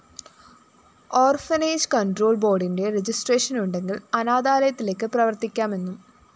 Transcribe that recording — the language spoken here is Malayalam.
ഓർഫനേജ്‌ കണ്‍ട്രോള്‍ ബോര്‍ഡിന്റെ രജിസ്ട്രേഷൻ ഉണ്ടെങ്കില്‍ അനാഥാലയത്തിലേക്ക് പ്രവര്‍ത്തിക്കാമെന്നും